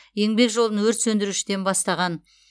еңбек жолын өрт сөндірушіден бастаған